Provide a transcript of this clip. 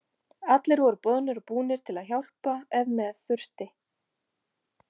Allir voru boðnir og búnir til að hjálpa ef með þurfti.